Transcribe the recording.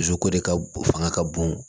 Dusu ko de ka bon fanga ka bon